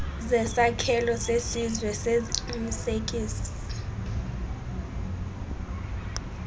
zesakhelo sesizwe seziqinisekiso